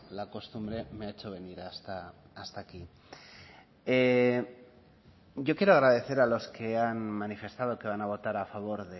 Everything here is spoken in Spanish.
la costumbre me ha hecho venir hasta aquí yo quiero agradecer a los que han manifestado que van a votar a favor